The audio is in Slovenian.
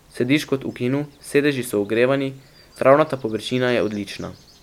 Sediš kot v kinu, sedeži so ogrevani, travnata površina je odlična.